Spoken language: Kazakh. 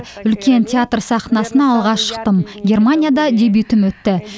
үлкен театр сахнасына алғаш шықтым германияда дебютім өтті